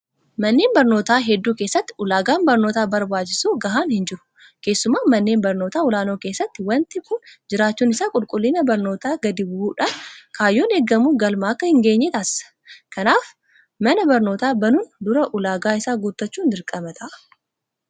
Manneen barnootaa hedduu keessatti ulaagaan barnootaaf barbaachisu gahaan hinjiru. Keessumaa manneen barnootaa olaanoo keessatti waanti kun jiraachuun isaa qulqullinni barnootaa gadi bu'uudhaan kaayyoon eegamu galma akka hingeenye taasisa. Kanaaf mana barnootaa banuun dura ulaagaa isaa guuttachuun dirqama ta'a.